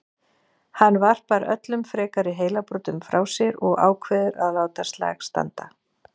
Hann varpar öllum frekari heilabrotum frá sér og ákveður að láta slag standa.